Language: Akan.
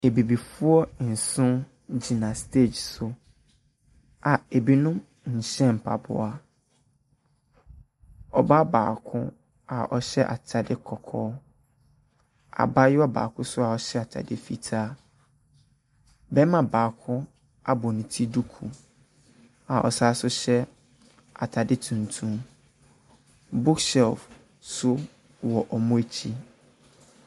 Abibifoɔ nso gyina stage so a binom nhyɛ mpaboa. Ɔbaa baako a ɔhyɛ atadeɛ kɔkɔɔ, abaayewa baako nso a ɔhyɛ atadeɛ fitaa. Barima baako abɔ ne ti duku a ɔsane nso hyɛ atade tuntum. Book shelve nso wɔ wɔn akyi.